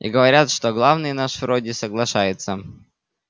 и говорят что главный наш вроде соглашается